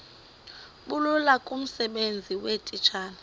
bulula kumsebenzi weetitshala